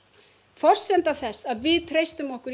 forsenda þess að við treystum okkur